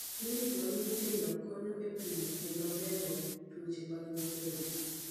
Zahanti za watoto zinasaidia kupima na kuchanja watoto dhidi ya magonjwa.